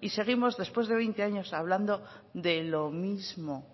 y seguimos después de veinte años hablando de lo mismo